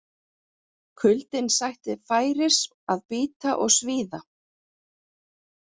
Kuldinn sætti færis að bíta og svíða.